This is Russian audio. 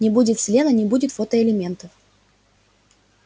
не будет селена не будет фотоэлементов